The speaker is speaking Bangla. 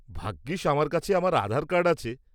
ভাগ্যিস আমার কাছে আমার আধার কার্ড আছে।